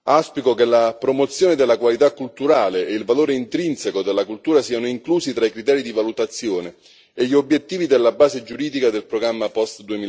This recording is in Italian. Auspico che la promozione della qualità culturale e il valore intrinseco della cultura siano inclusi tra i criteri di valutazione e gli obiettivi della base giuridica del programma post